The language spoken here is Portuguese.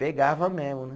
Pegava mesmo, né?